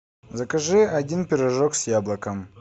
закажи один пирожок с яблоком